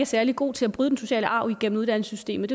særlig gode til at bryde den sociale arv igennem uddannelsessystemet